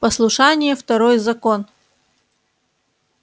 послушание второй закон